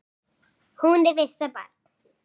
Hún er fyrsta barn.